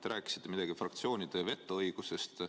Te rääkisite midagi fraktsioonide vetoõigusest.